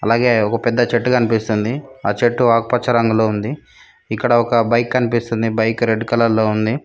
అలాగే ఒక పెద్ద చెట్టు కనిపిస్తుంది ఆ చెట్టు ఆకుపచ్చ రంగులో ఉంది ఇక్కడ ఒక బైక్ కనిపిస్తుంది బైక్ రెడ్ కలర్ లో ఉంది.